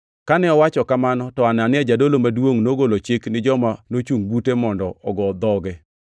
Kane owacho kamano, to Anania jadolo maduongʼ nogolo chik ni joma nochungʼ bute mondo ogo dhoge.